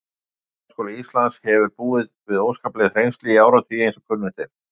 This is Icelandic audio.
Kennaraháskóli Íslands hefur búið við óskapleg þrengsli í áratugi, eins og kunnugt er.